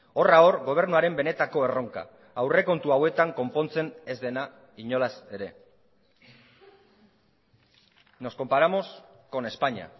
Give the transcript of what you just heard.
horra hor gobernuaren benetako erronka aurrekontu hauetan konpontzen ez dena inolaz ere nos comparamos con españa